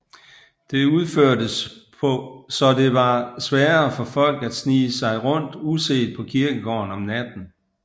Det udførtes så det var sværere for folk at snige sig rundt uset på kirkegården om natten